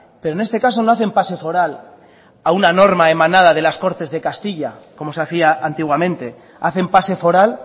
pero en este caso no hacen pase foral a una norma emanada de las cortes de castilla como se hacía antiguamente hacen pase foral